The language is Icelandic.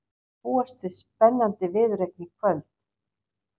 Það má því búast við spennandi viðureign í kvöld.